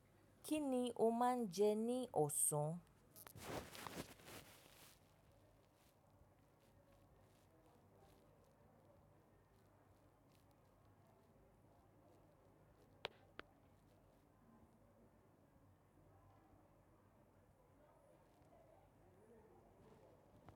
Kí ni o máa ń jẹ ní ọ̀sán?